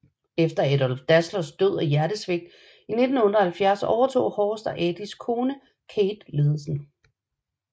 Efter Adolf Dasslers død af hjertesvigt i 1978 overtog Horst og Adis kone Käthe ledelsen